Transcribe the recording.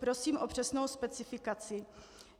Prosím o přesnou specifikaci.